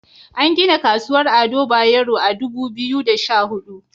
An gina Kasuwar Ado Bayero a Dubu Biyu da Sha Hudu.